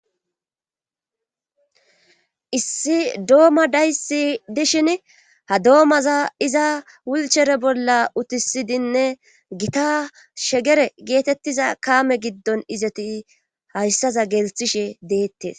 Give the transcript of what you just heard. Issi dooma dayssi dishin ha doomaza iza wulchere bolla utisidinne gita shegere geetettiza kame giddon izeti hayssaza gelthishe deettes.